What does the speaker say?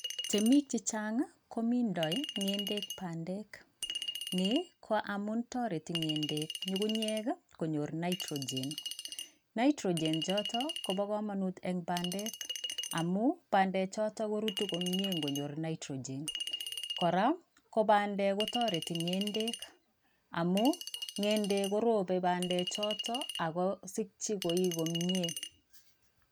Temik chechang komindoi ng'endek bandek. Ni ko amun toreti ng'endek nying'unyek konyor nitrogen. Nitrogen choto kopo komonut eng bandek amu bandechoto korutu komie nkonyor nitrogen. Kora, ko bandek kotoreti ng'endek amu ng'endek korope bandechoto akosikchi koi komie.